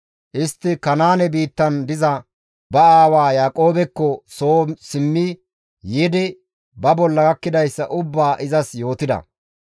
Istti Kanaane biittan diza ba aawa Yaaqoobekko soo simmi yiidi ba bolla gakkidayssa ubbaa izas yootida.